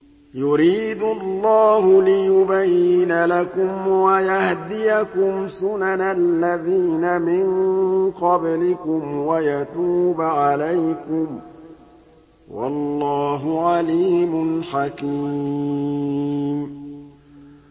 يُرِيدُ اللَّهُ لِيُبَيِّنَ لَكُمْ وَيَهْدِيَكُمْ سُنَنَ الَّذِينَ مِن قَبْلِكُمْ وَيَتُوبَ عَلَيْكُمْ ۗ وَاللَّهُ عَلِيمٌ حَكِيمٌ